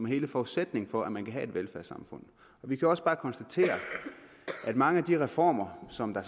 hele forudsætningen for at man kan have et velfærdssamfund vi kan også bare konstatere at mange af de reformer som der